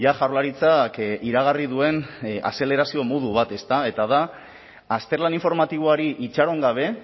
jaurlaritzak iragarri duen azelerazio modu bat eta da azterlan informatiboari itxaron gabe